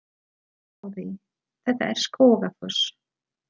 Sjáiði! Þetta er Skógafoss.